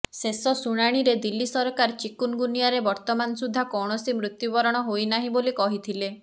ଶେଷ ଶୁଣାଣିରେ ଦିଲ୍ଲୀ ସରକାର ଚିକୁନଗୁନିଆରେ ବର୍ତ୍ତମାନସୁଦ୍ଧା କୌଣସି ମୃତ୍ୟୁବରଣ ହୋଇନାହିଁ ବୋଲି କହିଥିଲେ